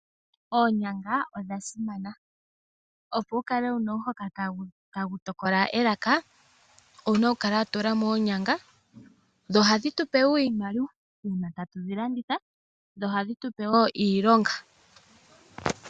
Oonyanga odha simana. opo wu kale wu na omhoka tagu tokola elaka, owuna okukala wa tula mo oonyanga dho ohadhi tu pewo iimaliwa uuna tatu dhi landitha, dho ohadhi tu pe wo iilonga.